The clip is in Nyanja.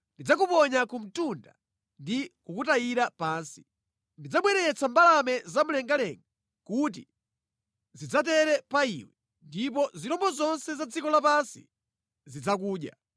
Ndidzakuponya ku mtunda ndi kukutayira pansi. Ndidzabweretsa mbalame zamumlengalenga kuti zidzatere pa iwe, ndipo zirombo zonse za dziko lapansi zidzakudya.